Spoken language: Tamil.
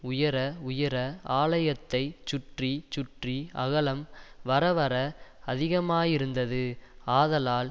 உயர உயர ஆலயத்தை சுற்றி சுற்றி அகலம் வரவர அதிகமாயிருந்தது ஆதலால்